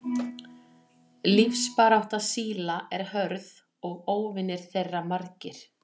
Lífsbarátta síla er hörð og óvinir þeirra margir.